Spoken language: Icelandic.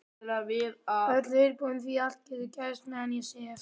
Öllu viðbúin því allt getur gerst meðan ég sef.